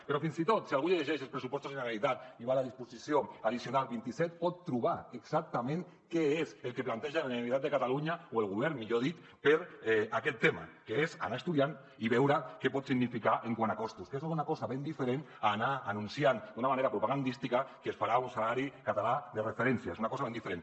però fins i tot si algú es llegeix els pressupostos de la generalitat i va a la disposició addicional vint set pot trobar exactament què és el que planteja la generalitat de catalunya o el govern millor dit per a aquest tema que és anar estudiant i veure què pot significar quant a costos que això és una cosa ben diferent a anar anunciant d’una manera propagandística que es farà un salari català de referència és una cosa ben diferent